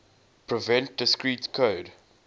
prevent discrete code